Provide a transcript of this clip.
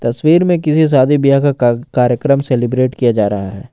तस्वीर में किसी शादी व्याह का कार कार्यक्रम सेलिब्रेट किया जा रहा है।